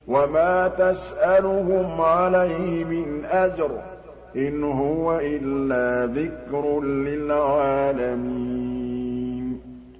وَمَا تَسْأَلُهُمْ عَلَيْهِ مِنْ أَجْرٍ ۚ إِنْ هُوَ إِلَّا ذِكْرٌ لِّلْعَالَمِينَ